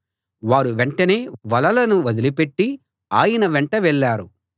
వారు వెంటనే వలలను వదిలిపెట్టి ఆయన వెంట వెళ్ళారు